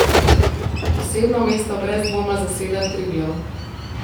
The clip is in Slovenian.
Posebno mesto brez dvoma zaseda Triglav.